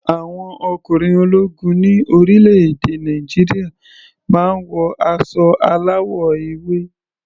Àwọn ọkùnrin ológun ní orílẹ̀-èdè Nàìjíríà máa ń wọ aṣọ aláwọ̀ ewé.